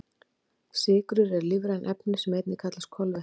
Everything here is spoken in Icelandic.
Sykrur eru lífræn efni sem einnig kallast kolvetni.